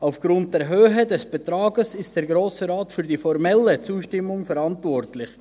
Aufgrund der Höhe des Betrags ist der Grosse Rat für die formelle Zustimmung verantwortlich.